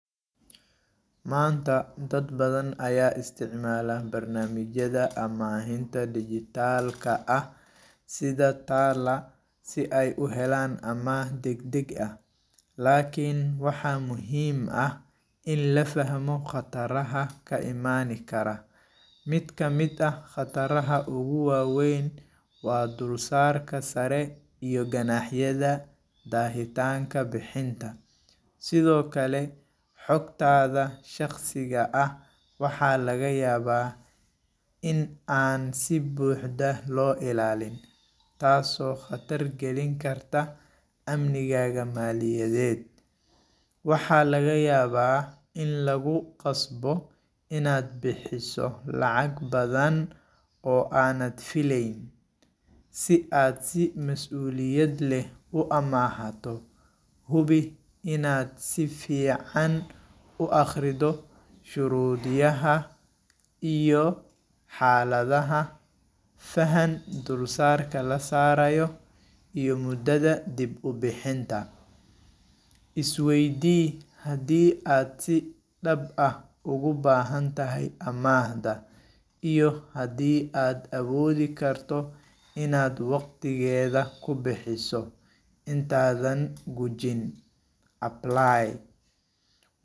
Maanta, dad badan ayaa isticmaala barnaamijyada amaahinta dhijitaalka ah sida TALA si ay u helaan amaah degdeg ah. Laakiin, waxaa muhiim ah in la fahmo khataraha ka imaan kara. Mid ka mid ah khataraha ugu waaweyn waa dulsaarka sare iyo ganaaxyada daahitaanka bixinta. Sidoo kale, xogtaada shakhsiga ah waxaa laga yaabaa in aan si buuxda loo ilaalin, taasoo khatar gelin karta amnigaaga maaliyadheed. Waxaa laga yaabaa in lagu qasbo inaad bixiso lacag badan oo aanad filayn. Si aad si mas’uuliyad leh u amaahato, hubi inaad si fiican u akhrido shuruudyaha iyo xaaladhaha, faham dulsaarka la saarayo, iyo muddadha dib u bixinta. Is weydii haddii aad si dhab ah ugu baahantahay amaahda, iyo haddii aad awoodhi karto inaad waqtigeeda ku bixiso. Intaadhan gujin Apply.